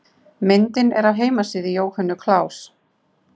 Myndin er af heimasíðu Jóhönnu Klaus.